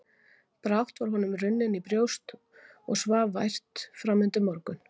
Brátt var honum runnið í brjóst og svaf vært framundir morgun.